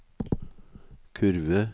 kurve